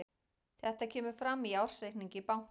Þetta kemur fram í ársreikningi bankans